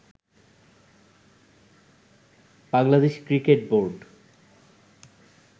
Bangladesh cricket board